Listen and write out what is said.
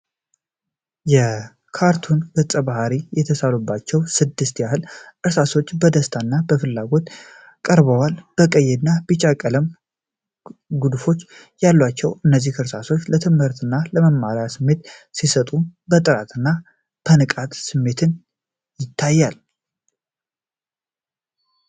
የካርቱን ገፀ ባህሪያት የተሳሉባቸው ስድስት ያህል እርሳሶች በደስታና በፍላጎት ቀርበዋል። የቀይ እና ቢጫ ቀለም ንድፎች ያሏቸው እነዚህ እርሳሶች ለትምህርት እና ለመማር ስሜት ሲሰጡ፤ የጥራት እና የንቃት ስሜትም ይታያል።